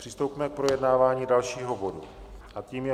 Přistoupíme k projednávání dalšího bodu a tím je